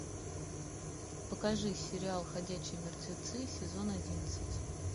покажи сериал ходячие мертвецы сезон одиннадцать